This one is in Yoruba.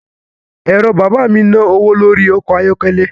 Ẹ̀rọ bàbá mi ń ná owó lórí ọkọ̀ ayọ́kẹ́lẹ́